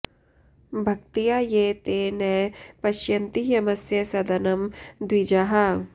भक्त्या ये ते न पश्यन्ति यमस्य सदनं द्विजाः